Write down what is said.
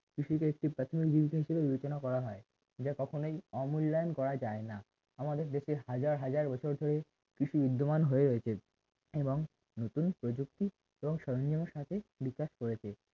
কৃষির একটি প্রাথমিক দিক থেকে বিবেচনা করা হয় যা কখনোই অমূল্যায়ন করা যায় না আমাদের দেশের হাজার হাজার বছর ধরে কৃষি বিদ্যমান হয়ে রয়েছে এবং নতুন প্রযুক্তি এবং সরঞ্জামের সাথে বিকাশ করেছে